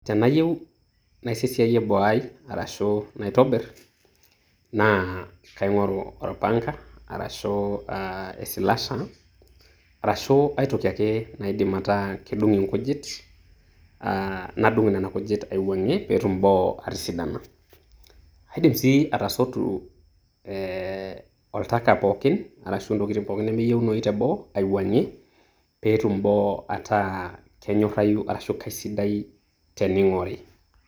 Tenayieu naisesiaye boo ai arashu naitobir na kaing'oru orpanka arashu e slasher arashu aitoki ake naidim ataa kedung' inkujit, ah nadung' nena kujit aiwang'ie petum boo atisidana. Aidim sii atasotu eh oltaka pookin arashu intokitin pookin nemeyieunoyu teboo aiwuang'ie petum boo ataa kenyorrayu ashu kaisidai tening'ori.